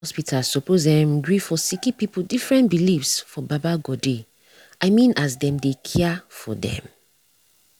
hospitas suppos erm gree for sicki pipu different beliefs for baba godey i mean as dem dey care for dem